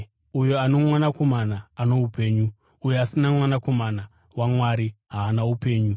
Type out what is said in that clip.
Uyo ano Mwanakomana ano upenyu; uyo asina Mwanakomana waMwari haana upenyu.